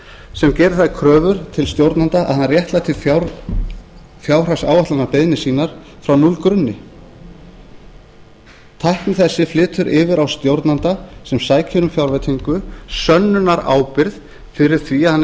sem gerir þær kröfur til stjórnanda að hann réttlæti fjárhagsáætlanabeiðnir sína frá núllgrunni tækni þessi flytur yfir á stjórnanda sem sækir um fjárveitingu sönnunarábyrgð fyrir því að hann